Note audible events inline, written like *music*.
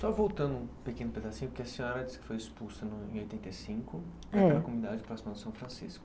Só voltando um pequeno pedacinho, porque a senhora disse que foi expulsa *unintelligible* rm oitenta e cinco *unintelligible* comunidade próxima de São Francisco.